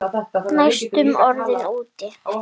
Næstum orðinn úti